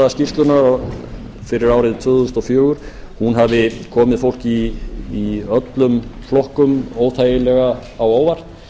skýrslunnar fyrir árið tvö þúsund og fjögur hafi komið fólki í öllum flokkum óþægilega á óvart